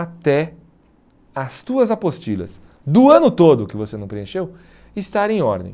Até as tuas apostilhas do ano todo que você não preencheu estarem em ordem.